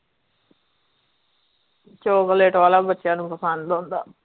chocolate ਵਾਲਾ ਬੱਚਿਆਂ ਨੂੰ ਪਸੰਦ ਹੁੰਦਾ